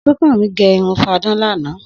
Súnkànmí gẹ irun fadán lánàá